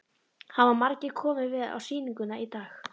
Hafa margir komið við á sýninguna í dag?